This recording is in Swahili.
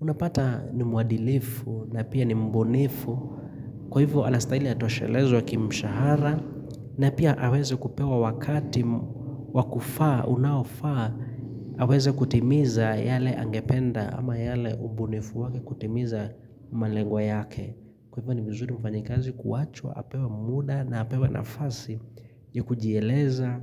Unapata ni muadilifu na pia ni mbunifu. Kwa hivyo anastahili atoshelezwe kimshahara. Na pia aweze kupewa wakati wa kufaa, unaofaa, aweze kutimiza yale angependa ama yale ubunifu wake kutimiza malengwa yake. Kwa hivyo ni mzuri mfanyikazi kuwachwa apewa muda na apewa nafasi ya kujieleza